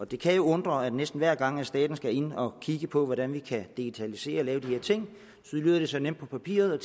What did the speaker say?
det kan jo undre at næsten hver gang staten skal ind og kigge på hvordan vi kan digitalisere og lave de her ting så lyder det så nemt på papiret